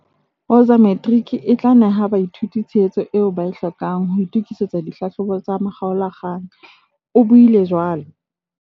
"Woza Matrics e tla neha baithuti tshehetso eo ba e hlokang ho itokisetsa dihlahlobo tsa makgaola-kgang," o buile jwalo.